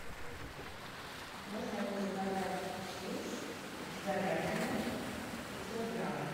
можно мне заказать хиллс с говядиной пятьсот грамм